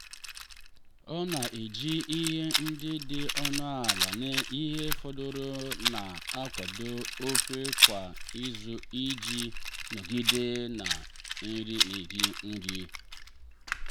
ọ na-eji ihe ndị dị ọnụ ala na ihe fọdụrụ na-akwado ofe kwa izu iji nọgide na-eri nri.